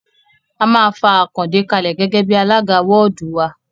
A máa fa Àkàndé kalẹ̀ gẹ́gẹ́ bí alága wọ́ọ̀dù wa